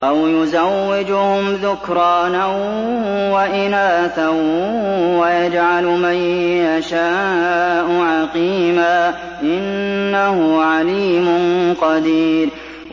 أَوْ يُزَوِّجُهُمْ ذُكْرَانًا وَإِنَاثًا ۖ وَيَجْعَلُ مَن يَشَاءُ عَقِيمًا ۚ إِنَّهُ عَلِيمٌ قَدِيرٌ